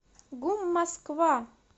гум москва